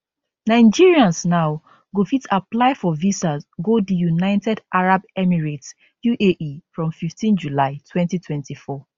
nigerians now go fit apply for visas go di united arab emirates uae from 15 july 2024